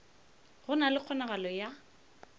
go na le kgonagalo ya